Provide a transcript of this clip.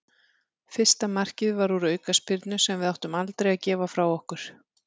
Fyrsta markið var úr aukaspyrnu sem við áttum aldrei að gefa frá okkur.